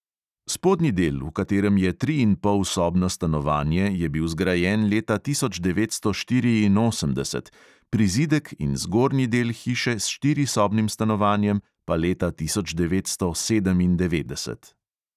Spodnji del, v katerem je triinpolsobno stanovanje, je bil zgrajen leta tisoč devetsto štiriinosemdeset, prizidek in zgornji del hiše s štirisobnim stanovanjem pa leta tisoč devetsto sedemindevetdeset.